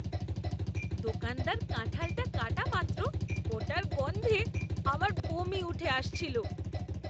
দোকানদার কাঁঠালটা কাটা মাত্র ওটার গন্ধে আমার বমি উঠে আসছিল।